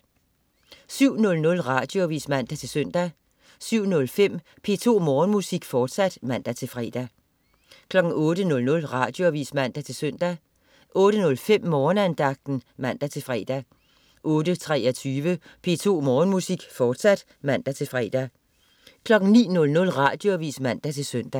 07.00 Radioavis (man-søn) 07.05 P2 Morgenmusik, fortsat (man-fre) 08.00 Radioavis (man-søn) 08.05 Morgenandagten (man-fre) 08.23 P2 Morgenmusik, fortsat (man-fre) 09.00 Radioavis (man-søn)